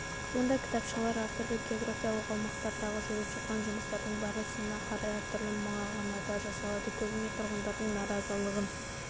мұндай кітапшалар әртүрлі географиялық аумақтардағы жүріп жатқан жұмыстардың барысына қарай әртүрлі мағынада жасалады көбіне тұрғындардың наразылығын